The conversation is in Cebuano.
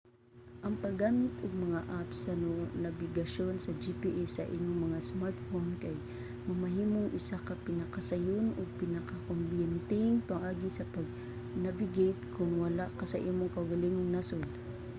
ang paggamit og mga app sa nabigasyon sa gps sa inyong mga smartphone kay mamahimong isa ka pinakasayon ug pinakakombenyenteng pamaagi sa pag-navigate kon wala ka sa imong kaugalingong nasod